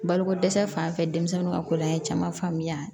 Balokodɛsɛ fan fɛ denmisɛnninw ka kol'an ye caman faamuya